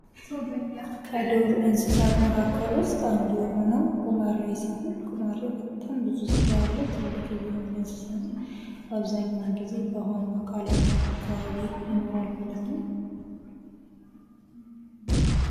ዱር እንስሳት መካከል ውስጥ አንዱ የሆነው ጉማሬ ሲሆን ጉማሬ በጣም ብዙ ጋ ያለው ትልቅዬ የሆነ እንስሳ ነው። በአብዛኛው በውሃማ አካላት አካባቢ ይኖራል ማለት ነው።